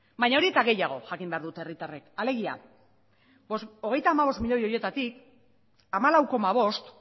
baina hori eta gehiago jakin beharko dute herritarrek alegia hogeita hamabost miloi horietatik hamalau koma bost